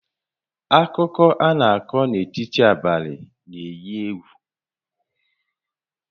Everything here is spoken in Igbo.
Akụkọ a na-akọ n'etiti abalị na-éyí égwù